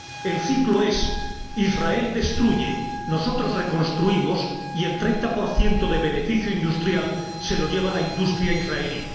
El ciclo es Israel destruye, nosotros reconstruimos, y el 30 de beneficio industrial se lo lleva la industria israelí.